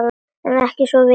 Ekki svo ég viti.